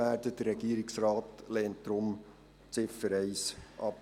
Deshalb lehnt der Regierungsrat die Ziffer 1 ab.